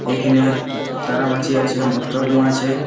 এইখেনে তারা মাছি আছে মত্ত কুয়া আছে।